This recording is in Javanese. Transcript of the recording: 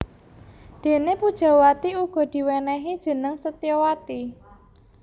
Déné Pujawati uga diwènèhi jeneng Setyawati